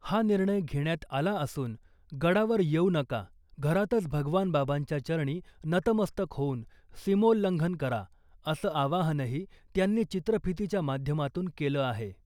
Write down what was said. हा निर्णय घेण्यात आला असून , गडावर येऊ नका , घरातच भगवान बाबांच्या चरणी नतमस्तक होऊन सीमोल्लंघन करा असं आवाहनही त्यांनी चित्रफीतीच्या माध्यमातून केलं आहे .